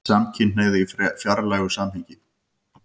SAMKYNHNEIGÐ Í FRÆÐILEGU SAMHENGI